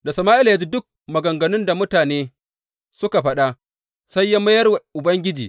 Da Sama’ila ya ji duk maganganun da mutanen suka faɗa, sai ya mayar wa Ubangiji.